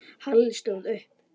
Halli stóð upp.